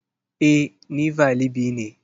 E, ni valibi ne.